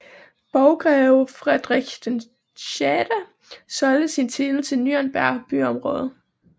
Borggreve Friedrich VI solgte sin titel til Nürnberg byråd